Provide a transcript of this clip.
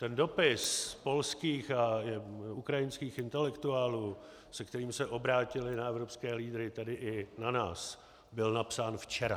Ten dopis polských a ukrajinských intelektuálů, se kterým se obrátili na evropské lídry, tedy i na nás, byl napsán včera.